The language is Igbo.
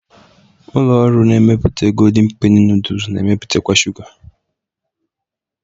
Ụlọ ọrụ na-emepụta Goldịñ Penị nooduls na-emepụtakwa shuga